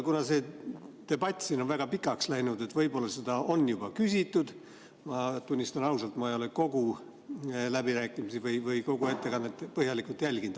Kuna see debatt siin on väga pikaks läinud, võib-olla seda on juba küsitud – tunnistan ausalt, ma ei ole kogu läbirääkimisi või kogu ettekannet põhjalikult jälginud.